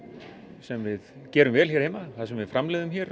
sem við gerum vel hér heima það sem við framleiðum hér